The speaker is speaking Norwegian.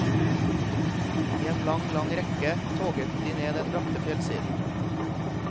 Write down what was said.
I en lang, lang rekke toget de ned den bratte fjellsiden.